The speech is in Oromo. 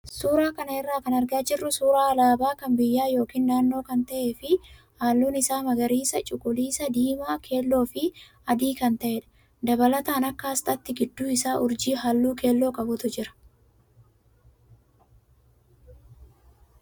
Suuraa kana irraa kan argaa jirru suuraa alaabaa kan biyyaa yookaan naannoo kan ta'ee fi halluun isaa magariisa, cuquliisa, diimaa, keelloo fi adii kan ta'edha. Dabalataan akka asxaatti gidduu isaa urjii halluu keelloo qabutu jira.